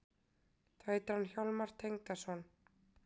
Þá heitir hann Hjálmar Tengdason.